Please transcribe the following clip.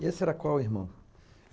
E esse era qual irmão?